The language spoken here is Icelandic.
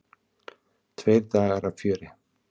Tveir dagar af fjöri.